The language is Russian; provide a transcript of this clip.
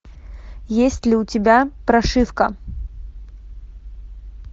есть ли у тебя прошивка